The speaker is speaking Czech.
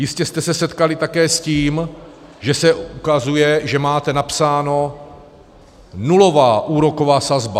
Jistě jste se setkali také s tím, že se ukazuje, že máte napsáno nulová úroková sazba.